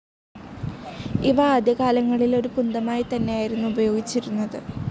ഇവ ആദ്യകാലങ്ങളിൽ ഒരു കുന്തമായിത്തന്നെയായിതന്നെ ആയിരുന്നു ഉപയോഗിച്ചിരുന്നത്.